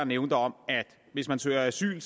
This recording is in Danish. nævnt om at hvis man søger asyl